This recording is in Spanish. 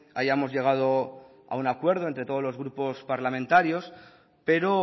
hayamos llegado a un acuerdo entre todos los grupos parlamentarios pero